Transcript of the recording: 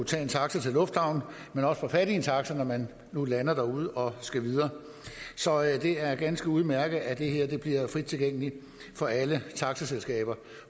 tage en taxa til lufthavnen og også få fat i en taxa når man nu lander derude og skal videre så det er ganske udmærket at det her bliver frit tilgængeligt for alle taxaselskaber